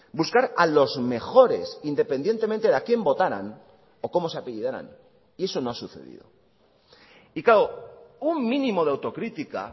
buscar a los mejores independientemente de a quién votaran o cómo se apellidaran y eso no ha sucedido y claro un mínimo de autocrítica